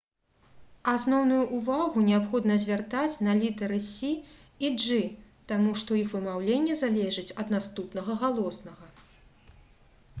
асноўную ўвагу неабходна звяртаць на літары «c» и «g» таму што іх вымаўленне залежыць ад наступнага галоснага